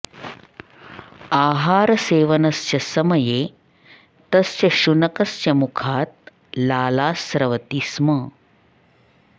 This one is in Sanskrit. आहारसेवनस्य समये तस्य शुनकस्य मुखात् लाला स्रवति स्म